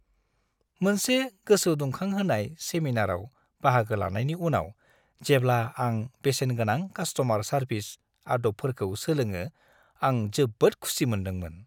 मोनसे गोसोदुंखांहोनाय सेमिनारआव बाहागो लानायनि उनाव, जेब्ला आं बेसेनगोनां कासट'मार सारभिस आद'बफोरखौ सोलोङो आं जोबोद खुसि मोनदोंमोन।